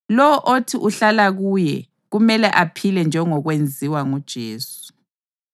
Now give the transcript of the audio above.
Lowo othi uhlala kuye kumele aphile njengokwenziwa nguJesu.